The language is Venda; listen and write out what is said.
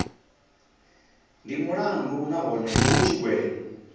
ndi mulandu nahone hu tshigwevho